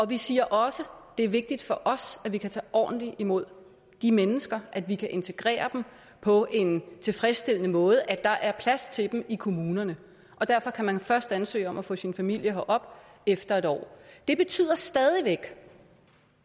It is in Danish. vi siger også at det er vigtigt for os at vi kan tage ordentligt imod de mennesker at vi kan integrere dem på en tilfredsstillende måde at der er plads til dem i kommunerne og derfor kan man først ansøge om at få sin familie herop efter en år det betyder stadig væk